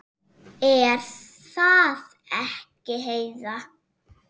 Er það ekki, Heiða?